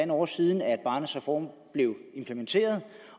år siden barnets reform blev implementeret